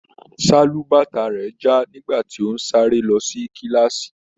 Sálúbàtà rẹ já nígbà tí o n sáré lọ sí kilaasi.